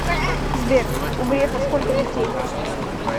сбер у грефа сколько детей